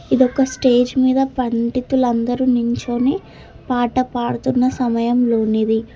ఇదొక స్టేజ్ మీద పండితులందరూ నించొని పాట పాడుతున్న సమయంలోనిది.